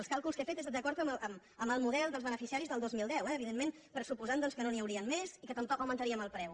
els càlculs que he fet són d’acord amb el model dels beneficiaris del dos mil deu eh evidentment pressuposant doncs que no n’hi haurien més i que tampoc n’augmentaríem el preu